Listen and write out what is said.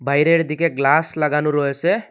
বাইরের দিকে গ্লাস লাগানো রয়েসে।